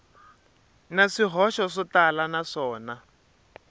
na swihoxo swo tala naswona